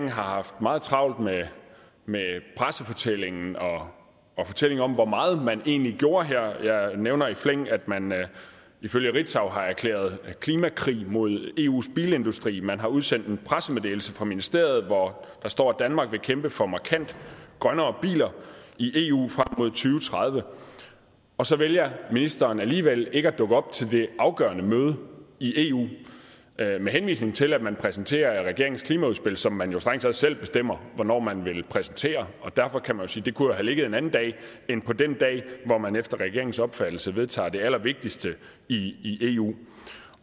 har haft meget travlt med pressefortællingen og og fortællinger om hvor meget man egentlig gjorde her jeg nævner i flæng at man ifølge ritzau har erklæret klimakrig mod eus bilindustri man har udsendt en pressemeddelelse fra ministeriet hvori der står at danmark vil kæmpe for markant grønnere biler i eu frem mod to tredive og så vælger ministeren alligevel ikke at dukke op til det afgørende møde i eu med henvisning til at man præsenterer regeringens klimaudspil som man jo strengt taget selv bestemmer hvornår man vil præsentere derfor kan man sige det kunne have ligget en anden dag end på den dag hvor man efter regeringens opfattelse vedtager det allervigtigste i eu